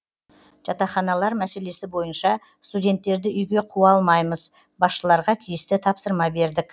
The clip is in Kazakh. жатақханалар мәселесі бойынша студенттерді үйге қуа алмаймыз басшыларға тиісті тапсырма бердік